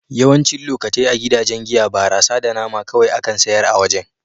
Yawancin lokatai a gidajen giya, barasa da nama kawai akan sayar a wajen.